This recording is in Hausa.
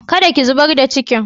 Kada ki zubar da cikin!